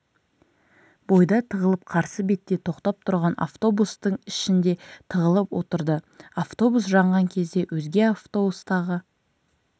бойда тығылып қарсы бетте тоқтап тұрған автобустың ішінде тығылып отырды автобус жанған кезде өзге автобустағы